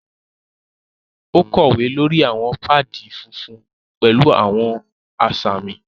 O kowe lórí awọn paadi fúnfún pẹlu awọn asami.